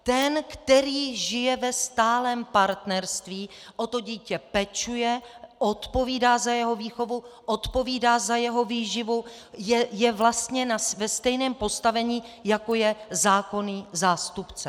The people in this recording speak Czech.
Ten, který žije ve stálém partnerství, o to dítě pečuje, odpovídá za jeho výchovu, odpovídá za jeho výživu, je vlastně ve stejném postavení, jako je zákonný zástupce.